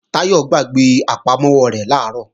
Táyọ̀ gbàgbé àpamọ́wọ́ rẹ̀ làárọ̀